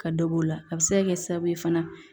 Ka dɔ b'o la a bi se ka kɛ sababu ye fana